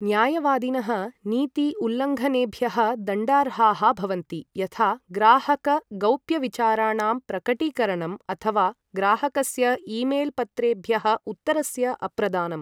न्यायवादिनः नीति उल्लङ्घनेभ्यः दण्डार्हाः भवन्ति, यथा ग्राहक गौप्यविचाराणां प्रकटीकरणं अथवा ग्राहकस्य ईमेल् पत्रेभ्यः उत्तरस्य अप्रदानम्।